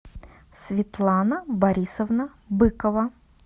светлана борисовна быкова